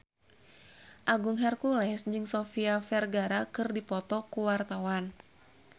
Agung Hercules jeung Sofia Vergara keur dipoto ku wartawan